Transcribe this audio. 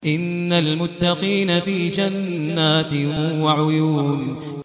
إِنَّ الْمُتَّقِينَ فِي جَنَّاتٍ وَعُيُونٍ